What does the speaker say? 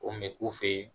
O kun bɛ k'u fe yen